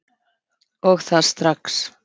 Og það strax!